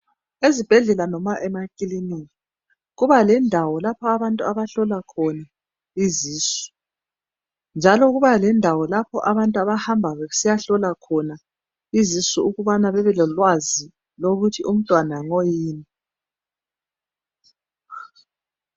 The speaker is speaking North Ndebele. Ezibhedlela noma emakilinika kuba lendawo lapho abantu abahlolwa khona izisu, njalo kubendawo lapho abantu abahamba besiyahlolwa khona izisu ukuthi babe lolwazi lokuthi umntwana ngoyini.